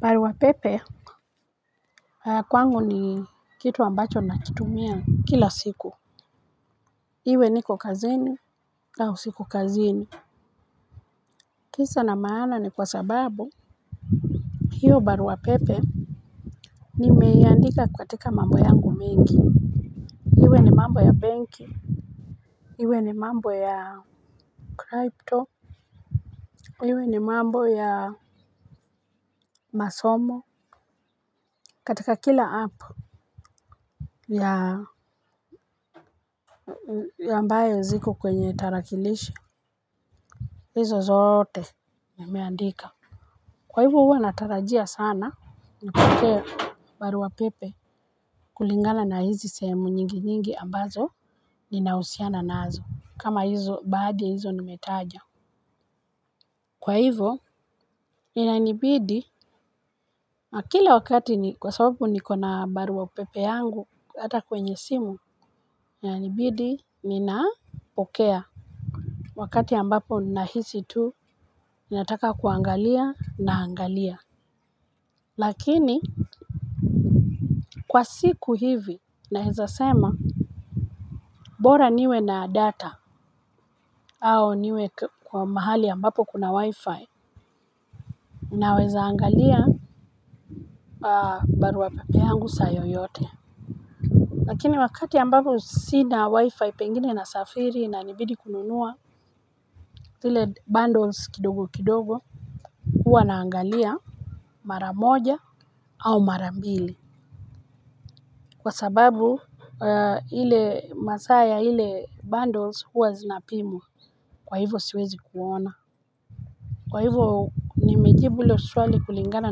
Barua pepe kwangu ni kitu ambacho nakitumia kila siku. Iwe niko kazini au siko kazini, kisa na maana ni kwa sababu hiyo barua pepe, nimeandika katika mambo yangu mengi. Mambo ya benki, iwe ni mambo ya crypto, iwe ni mambo ya masomo katika kila app ya ambayo ziko kwenye tarakilishi. Hizo zote nimeandika. Kwa hivyo huwa natarajia sana nifike barua pepe kulingana na hizi sehemu nyingi nyingi ambazo ninahusiana nazo, kama hizo baadhi ya hizo nimetaja. Kwa hivo inanibidi na kila wakati ni kwa sababu niko na barua pepe yangu hata kwenye simu inanibidi ninapokea wakati ambapo nahisi tu ninataka kuangalia naangalia. Lakini kwa siku hivi naweza sema. Bora niwe na data au niwe kwa mahali ambapo kuna wifi. Ninaezaangalia barua pepe yangu saa yoyote. Lakini wakati ambapo sina wifi pengine nasafiri inanibidi kununua zile bundles kidogo kidogo huwa naangalia mara moja au mara mbili kwa sababu ile masaa ya ile bundles huwa zinapimwa. Kwa hivo siwezi kuona, kwa hivo nimejibu hilo swali kulingana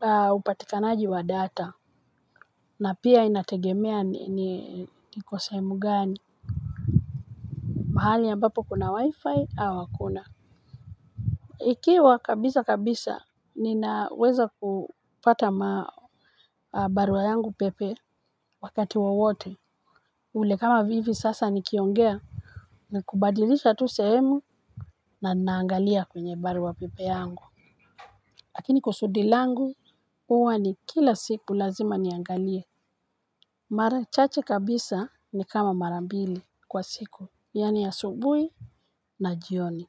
na upatikanaji wa data na pia inategemea ni iko sehemu gani. Mahali ambapo kuna wifi au hakuna. Ikiwa kabisa kabisa ninaweza kupata barua yangu pepe. Wakati wowote ule kama vivi sasa nikiongea. Ni kubadilisha tu sehemu, na ninaangalia kwenye barua pepe yangu. Lakini kusudi langu huwa ni kila siku lazima niangalie. Mara chache kabisa ni kama mara mbili kwa siku yaani asubuhi na jioni.